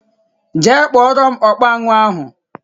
Jee kpọrọ m ọkpa aṅụ ahụ!!!!